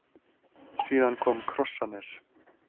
Síðan kom Krossanes.